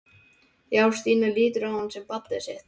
Já, Stína lítur á hann sem barnið sitt.